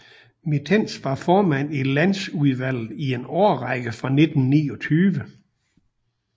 Mitens var formand i Landsudvalget i en årrække fra 1929